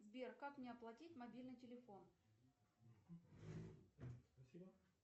сбер как мне оплатить мобильный телефон